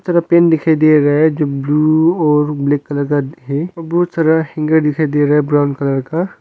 Pen दिखाई दे रहा है जो ब्लू और ब्लैक कलर का है। बहुत सारा हैंगर दिखाई दे रहा है ब्राउन कलर का।